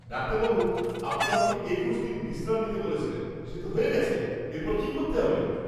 ডাক্তারবাবু, আপনি আমাকে ২১ দিন বিশ্রাম নিতে বলেছিলেন। সে তো হয়ে গেছে। এরপর কি করতে হবে? (রোগী)